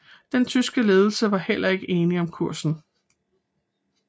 Den tyske ledelse var heller ikke enige om kursen